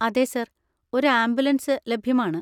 അതെ സർ, ഒരു ആംബുലൻസ് ലഭ്യമാണ്.